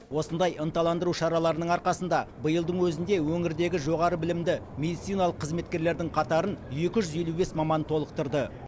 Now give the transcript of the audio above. осындай ынталандыру шараларының арқасында биылдың өзінде өңірдегі жоғары білімді медициналық қызметкерлердің қатарын екі жүз елу бес маман толықтырды